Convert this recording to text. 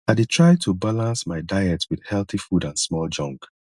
i dey try to balance my diet with healthy food and small junk